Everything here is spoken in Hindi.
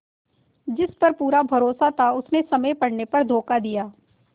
जिस पर पूरा भरोसा था उसने समय पड़ने पर धोखा दिया